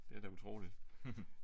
Det er da utroligt